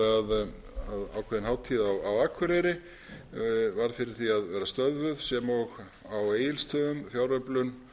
ákveðin hátíð á akureyri varð fyrir því að verða stöðvuð sem og á egilsstöðum fjáröflun